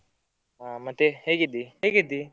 ಹಾ ಮತ್ತೆ ಹೇಗಿದ್ದಿ, ಹೇಗಿದ್ದಿ.